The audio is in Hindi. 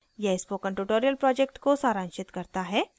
यह spoken tutorial project को सारांशित करता है